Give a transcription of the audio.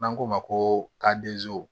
N'an k'o ma ko kad'i